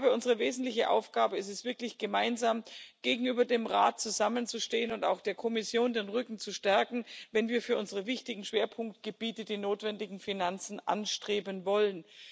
Ich glaube, unsere wesentliche Aufgabe ist es, wirklich gemeinsam gegenüber dem Rat zusammenzustehen und auch der Kommission den Rücken zu stärken, wenn wir für unsere wichtigen Schwerpunktgebiete die notwendigen Finanzen anstreben wollen.